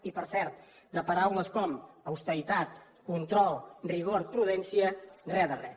i per cert de paraules com austeritat control rigor i prudència res de res